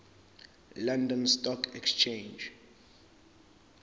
london stock exchange